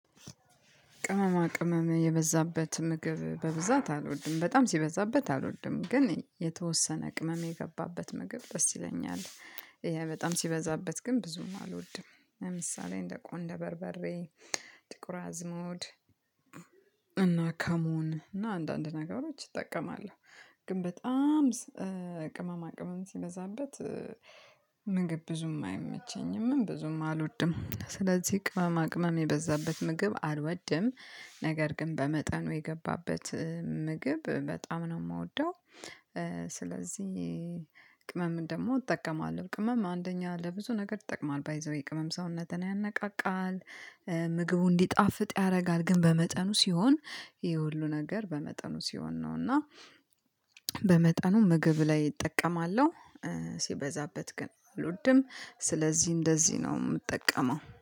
ቅመማ ቅመም የበዛበት ምግብ በብዛት አልወድም በጣም ሲበዛበት አልወድም ግን የተወሰነ ቅመም የገባበት ምግብ ደስ ይለኛል። ይሄ በጣም ሲበዛበት ግን ብዙም አልወድም ለምሳሌ እንደ ቆንደ በርበሬ ጥቁር አዝሙድ እና ካሞን እና አንዳንድ ነገሮች እጠቀማለሁ። ግን በጣም ቅመማ ቅመም ሲበዛበት ብዙም አይመቸኝም ብዙም አልወድም ስለዚህ ቅመማ ቅመም የበዛበት ምግብ አልወድም። ነገር ግን በመጠኑ የገባበት ምግብ በጣም ነው የምወደው። ስለዚህ ቅመም ደግሞ እጠቀማለሁ ቅመም አንደኛ ለብዙ ነገር ይጠቅማል ባይ ዘ ዌይ ቅመም ሰውነትን ያነቃቃል። ምግቡ እንዲጣፍጥ ያደርጋል ግን በመጠኑ ሲሆን ይሄ ሁሉ ነገር በመጠኑ ሲሆን ነው እና። በመጠኑ ምግብ ላይ እጠቀማለሁ። ሲበዛበት ግን አልድም ስለዚህ እንደዚህ ነው የምጠቀመው